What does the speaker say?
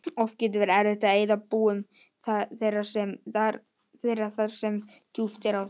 Oft getur verið erfitt að eyða búum þeirra þar sem djúpt er á þeim.